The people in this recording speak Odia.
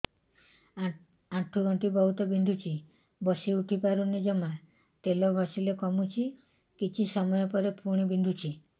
ଆଣ୍ଠୁଗଣ୍ଠି ବହୁତ ବିନ୍ଧୁଛି ବସିଉଠି ପାରୁନି ଜମା ତେଲ ଘଷିଲେ କମୁଛି କିଛି ସମୟ ପରେ ପୁଣି ବିନ୍ଧୁଛି